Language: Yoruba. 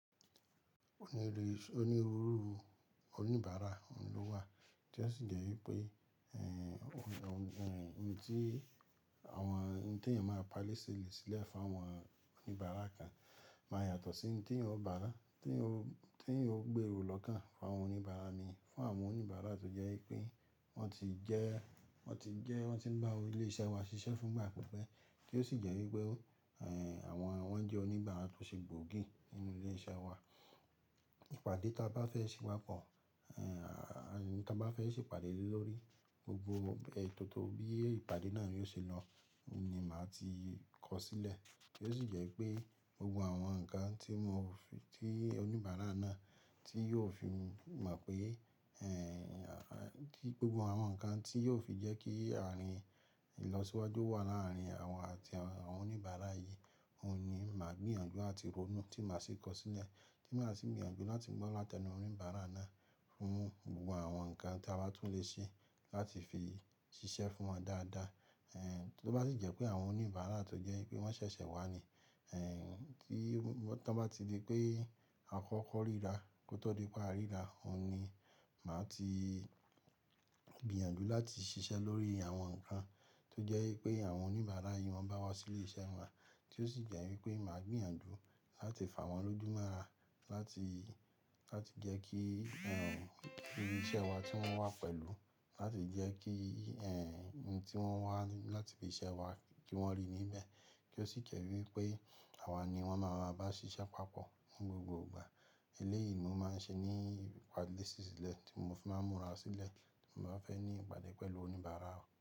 Onírúurú oníbàárà ló wà tí ó sì jẹ́ wípé ohun tí àwọn ẹni tí èèyàn máa ń palè sílẹ̀ fún àwọn oníbàárà kan máa yàtọ̀ sí ohun tí ẹ̀yan ó gbèrò lọ́kàn fún àwọn oníbàárà mi, fún àwọn oníbàárà tó jẹ́ pé wọ́n ti ń bá wa ilé iṣẹ́ wa ṣiṣẹ́ fún ìgbà pípẹ́ kí ó sì jẹ́ wípé wọ́n jẹ́ oníbàárà tó ṣe gbòógì nínú ilé iṣẹ́ wa. Ìpàdé tí a bá fẹ́ ṣe papọ̀, ohun tí a bá fẹ́ ṣe ìpàdé lórí gbogbo ètò tó bí ìpàdé náà yóò ṣe lọ ní máa ti kọ sílẹ̀. Kí ó sì jẹ́ pé gbogbo àwọn nǹkan tí oníbàárà náà tí yóò fi mọ̀ pé gbogbo àwọn nǹkan tí yóò fi jẹ́ kí ìlọsíwájú wà láàárín àwọn àti àwọn oníbàárà yìí, òun ni màá gbìyànjú àti ronú tí màá sì kọ sílẹ̀, tí màá sì gbìyànjú láti gbọ́ látẹnu oníbàárà náà fún gbogbo àwọn nǹkan tí a bá tún lè ṣe láti fi ṣiṣẹ́ fún wọn dáadáa. Tó bá sì jẹ́ pé àwọn oníbàárà tó jẹ́ pé wọ́n ṣẹ̀ṣẹ̀ wá ni tí wọ́n bá ti di pé àkọ́kọ́ ríra kó tó di pé a ríra, òun ni màá ti gbìyànjú láti ṣiṣẹ́ lórí àwọn nǹkan tó jẹ́ pé àwọn oníbàárà yìí máa ń bá wa sí ilé iṣẹ́ wa tí ó sì jẹ́ wípé màá gbìyànjú láti fà wọ́n lójúmọ́ra láti jẹ́ kí irú iṣẹ́ wa tí wọ́n wà pẹ̀lú, láti jẹ́ kí ohun tí wọ́n wà láti fi ṣẹ́ wa kí wọ́n rí níbẹ̀. Kí ó sì jẹ́ wípé àwa ni wọ́n máa ń bá wa ṣiṣẹ́ papọ̀ ní gbogbo ìgbà. Eléyìí ni ó máa ń ṣe ní ìpàdé ṣíṣílẹ̀ tí mo fi máa ń múra sílẹ̀ tí mo bá fẹ́ ní ìpàdé pẹ̀lú oníbàárà.